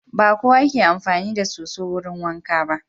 Ba kowa ke amfani da soso wurin wanka ba.